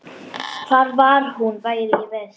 Hvar hún væri í vist.